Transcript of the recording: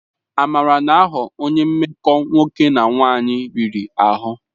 Amara na-aghọ onye mmekọ nwoke na nwanyị riri ahụ.